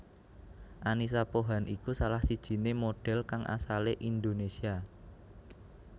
Annisa Pohan iku salah sijiné modhél kang asalé Indonésia